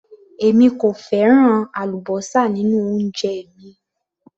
Èmi kò fẹ́ràn àlúbósà nínú oúnjẹ mi